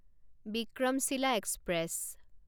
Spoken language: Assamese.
বিক্ৰমশীলা এক্সপ্ৰেছ